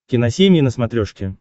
киносемья на смотрешке